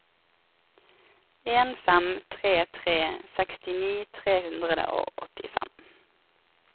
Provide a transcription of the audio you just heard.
en fem tre tre sekstini tre hundre og åttifem